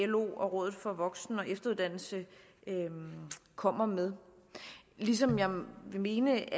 lo og rådet for voksen og efteruddannelse kommer med ligesom jeg vil mene